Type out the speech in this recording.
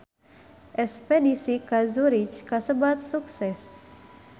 Espedisi ka Zurich kasebat sukses